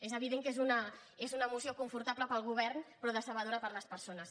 és evident que és una moció confortable per al govern però decebedora per a les persones